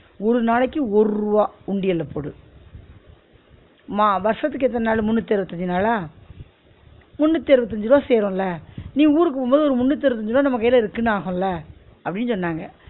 ஒரு நாளைக்கு ஒரு ருவா உண்டியல போடு மா வருஷத்துக்கு எத்தன நாளு? முன்னூத்தி அருவத்தஞ்சு நாளா? முன்னூத்தி அருவத்தஞ்சு ருவா சேரும்ல நீ ஊருக்கு போகும் போது ஒரு முன்னூத்தி அருவத்தஞ்சு ருவா நம்ம கையில இருக்குன்னு ஆகும்ல, அப்பிடின்னு சொன்னாங்க